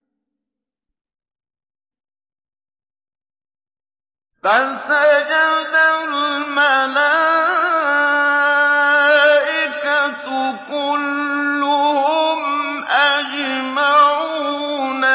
فَسَجَدَ الْمَلَائِكَةُ كُلُّهُمْ أَجْمَعُونَ